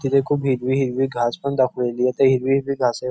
तिथे खूप हिरवी हिरवी घास पण दाखवलेलीय त्या हिरवी हिरवी घासेव--